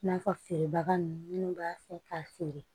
I n'a fɔ feerebaga ninnu minnu b'a fɛ k'a feere